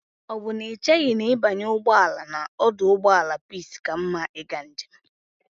O bu na icheghi na ibanye ugboala na oduugboala peace ka mma iga njem a?